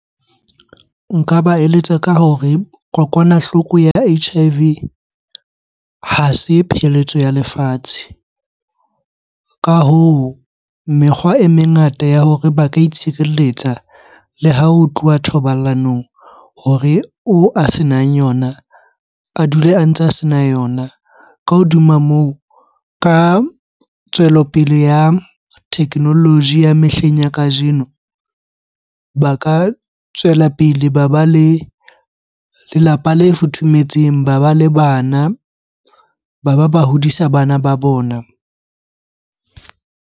Nka ba eletsa ka hore kokwanahloko ya H_I_V ha se pheletso ya lefatshe. Ka hoo, mekgwa e mengata ya hore ba ka itshireletsa le ha ho tluwa thobalanong hore oo a senang yona, a dule a ntse a sena yona. Ka hodima moo, ka tswelopele ya technology ya mehleng ya kajeno, ba ka tswela pele ba ba le lelapa le futhumetseng. Ba ba le bana, ba ba ba hodisa bana ba bona.